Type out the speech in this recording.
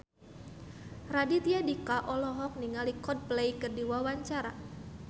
Raditya Dika olohok ningali Coldplay keur diwawancara